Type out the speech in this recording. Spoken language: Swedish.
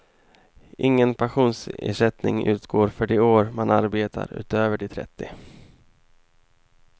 Ingen pensionsersättning utgår för de år man arbetar utöver de trettio.